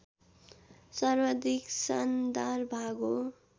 सर्वाधिक सानदार भाग हो